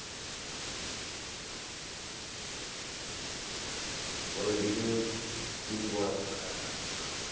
બોલો બીજું, બીજું બોલો તમે કંઈક નવીનમાં